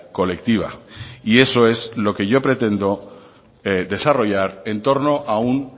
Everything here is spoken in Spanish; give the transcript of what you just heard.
colectiva y eso es lo que yo pretendo desarrollar en torno a un